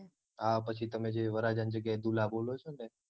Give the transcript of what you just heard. હા પછી તમે જે વરરાજાની જગ્યાએ દુલ્હા બોલો છો ને